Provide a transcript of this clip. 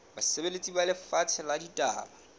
basebeletsi ba lefapha la ditaba